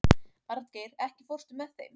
Arngeir, ekki fórstu með þeim?